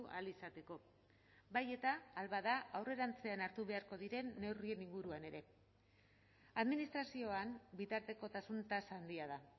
ahal izateko bai eta ahal bada aurrerantzean hartu beharko diren neurrien inguruan ere administrazioan bitartekotasun tasa handia da